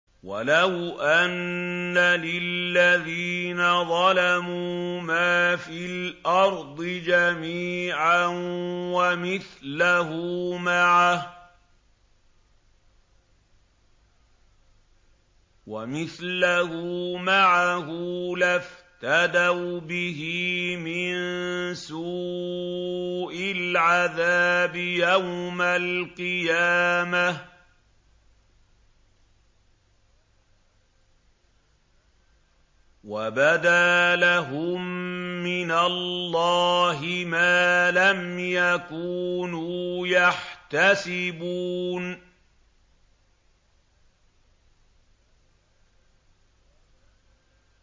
وَلَوْ أَنَّ لِلَّذِينَ ظَلَمُوا مَا فِي الْأَرْضِ جَمِيعًا وَمِثْلَهُ مَعَهُ لَافْتَدَوْا بِهِ مِن سُوءِ الْعَذَابِ يَوْمَ الْقِيَامَةِ ۚ وَبَدَا لَهُم مِّنَ اللَّهِ مَا لَمْ يَكُونُوا يَحْتَسِبُونَ